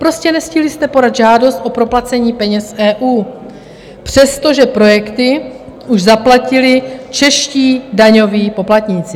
Prostě nestihli jste podat žádost o proplacení peněz z EU, přestože projekty už zaplatili čeští daňoví poplatníci.